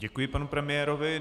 Děkuji panu premiérovi.